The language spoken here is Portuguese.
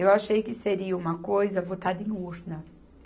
Eu achei que seria uma coisa votada em urna.